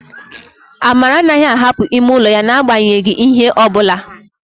Amara anaghị ahapụ ime ụlọ ya n'agbanyeghị ihe ọ bụla